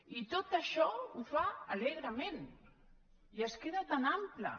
i tot això ho fa alegrement i es queda tan ample